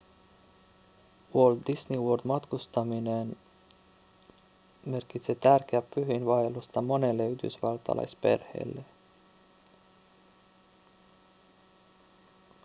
walt disney worldiin matkustaminen merkitsee tärkeää pyhiinvaellusta monelle yhdysvaltalaisperheelle